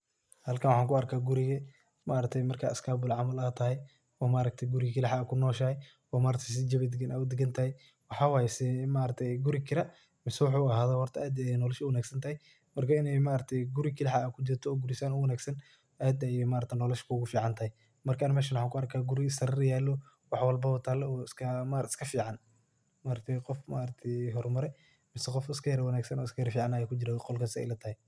Halkan waxan ku arka guriga oo marka iskabula aad tahay oo aad kaliga kunoshahay ,oo maaragte si jawi dagan u dagan tahay mxa waye ee maaragte maxa yele ee maaragte ee guri kira iyo wuxu ahado aad ayey nolosha u wanag santahay ini maaragte guri kaliha aa kujirta oo san u wanagsan aad ayey nolosha kugu fican tahay marki aniga meshan waxan ku arka , dar yalo wax walbaba yalo oo iska fican ,marka maaragte qof yara hor mare mise iska ficna aya kujire qolka sey ila tahay.